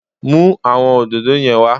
Mú àwọn òdòdó yẹn wá